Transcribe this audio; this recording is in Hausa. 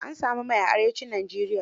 An sami mai a Arewacin Nigeria.